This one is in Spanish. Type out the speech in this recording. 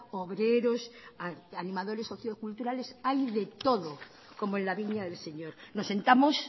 obreros animadores socioculturales hay de todo como en la viña del señor nos sentamos